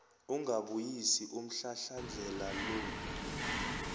ungabuyisi umhlahlandlela lo